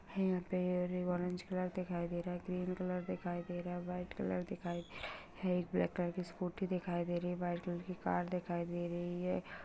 है यहाँ पे और ये ऑरेंज कलर दिखाई दे रहा है ग्रीन कलर दिखाई दे रहा है वाइट कलर दिखाई दे रहा है एक ब्लैक कलर की स्कूटी दिखाई दे रही वाइट कलर की कार दिखाई दे रही है।